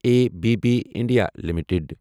A B B India limited